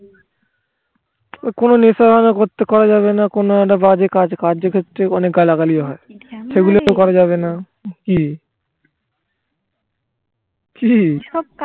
কোনো নেশা করা যাবে না একটা কোনো বাজে কাজ কার্যক্ষেত্রে অনেক গালাগালি ও হয় সেগুলিতো করা যাবে না কি কি